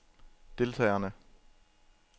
deltagerne